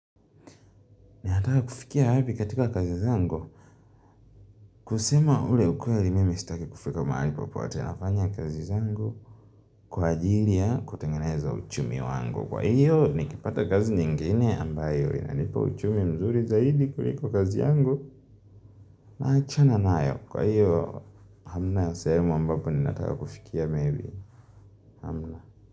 Ninataka kufikia wapi katika kazi zangu? Kusema ule ukweli mimi sitaki kufika mahali popote, nafanya kazi zangu kwa ajili ya kutengeneza uchumi wangu. Kwa hiyo nikipata kazi nyingine ambayo inalipa uchumi mzuri zaidi kuliko kazi yangu. Naachana nayo. Kwa hiyo hamna ya sehemu ambapo ninataka kufikia maybe. Hamna.